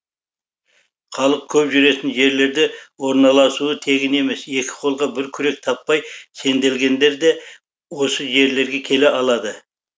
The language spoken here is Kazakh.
халық көп жүретін жерлерде орналасуы тегін емес екі қолға бір күрек таппай сенделгендер де осы жерлерге келе алады